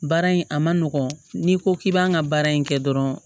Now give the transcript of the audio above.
Baara in a ma nɔgɔn n'i ko k'i b'an ka baara in kɛ dɔrɔn